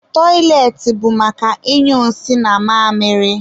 Tọịletị bụ maka ịnyụ nsị na mamịrị